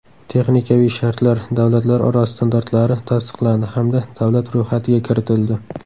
Texnikaviy shartlar” davlatlararo standartlari tasdiqlandi hamda davlat ro‘yxatiga kiritildi.